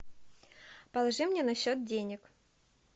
положи мне на счет денег